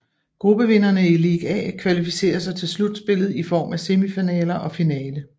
Gruppevinderne i League A kvalificerer sig til slutspillet i form af semifinaler og finale